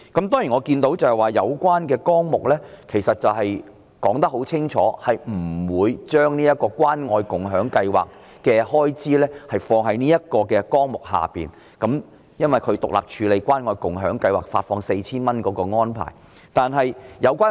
當然，我看到有關的綱領很清楚地指出不會把關愛共享計劃的開支放在這個綱領下，因為關愛共享計劃發放 4,000 元的安排是獨立處理的。